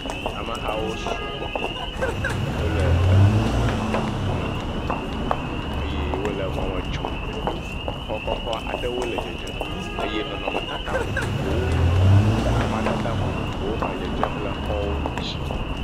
Ame hawo sugbɔ wole du domedome ye wole mɔ me tsom. Xɔ kɔkɔ aɖewo le dzedzem eye nɔnɔmetata vovovowo le amadede vovovowo me dzedzem le xɔwo ŋuti.